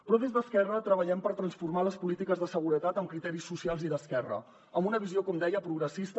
però des d’esquerra treballem per transformar les polítiques de seguretat amb criteris socials i d’esquerra amb una visió com deia progressista